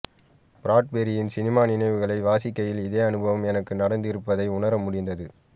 பிராட்பெரியின் cinema நினைவுகளை வாசிக்கையில் இதே அனுபவம் எனக்கும் நடந்திருப்பதை உணரமுடிந்தது